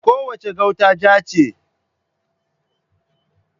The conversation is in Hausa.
Kowace gauta ja ce.